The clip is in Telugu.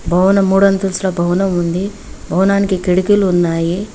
భవనం మూడంతస్తుల భవనం ఉంది భవనానికి కిడికీలు ఉన్నాయి.